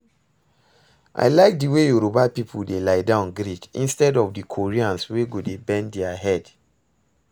I like the way Yoruba people dey lie down greet instead of the Koreans wey go dey bend their head